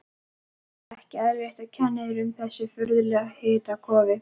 Ekki eðlilegt, og kennir um þessu furðulega hitakófi.